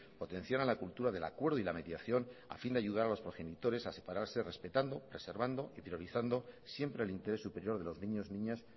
potenciaran la cultura del acuerdo y la mediación a fin de ayudar a los progenitores a separarse respetando reservando y priorizando siempre el interés superior de los niños niñas